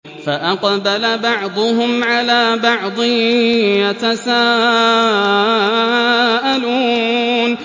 فَأَقْبَلَ بَعْضُهُمْ عَلَىٰ بَعْضٍ يَتَسَاءَلُونَ